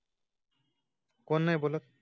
कोण नाही बोलत